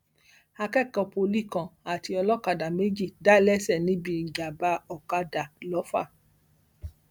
akẹkọọ pọlì kan àti olókàdá méjì dá léṣe níbi ìjàmbá ọkadà lọfà